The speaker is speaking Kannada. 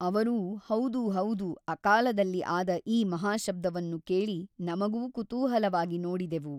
ಅವರೂ ಹೌದು ಹೌದು ಅಕಾಲದಲ್ಲಿ ಆದ ಈ ಮಹಾಶಬ್ದವನ್ನು ಕೇಳಿ ನಮಗೂ ಕುತೂಹಲವಾಗಿ ನೋಡಿದೆವು.